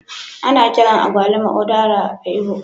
Ana kiran agwaluma Udara a'lgbo.